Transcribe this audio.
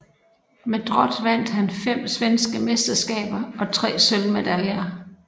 Med Drott vandt han fem svenske mesterskaber og tre sølvmedaljer